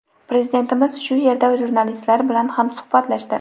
Prezidentimiz shu yerda jurnalistlar bilan ham suhbatlashdi.